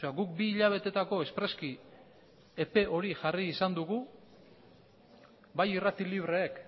guk bi hilabetetako espreski epe hori jarri izan dugu bai irrati libreek